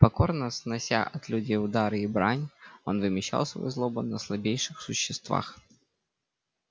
покорно снося от людей удары и брань он вымещал свою злобу на слабейших существах